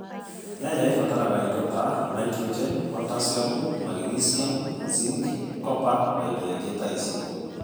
nyanya ĩbataraga ĩndo ta naĩtrojenĩ, potacĩamũ, magnĩcĩamũ, zĩnkĩ , kopa na ĩndo ĩngĩ ta ĩcĩo